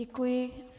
Děkuji.